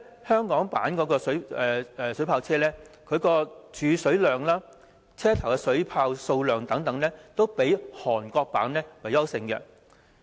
香港的水炮車無論儲水量、車頭的水炮數量等方面，均較韓國的強。